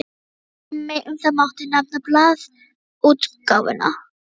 Sem dæmi um það mátti nefna blaðaútgáfuna.